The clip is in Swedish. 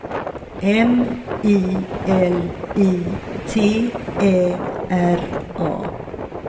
M I L I T Ä R A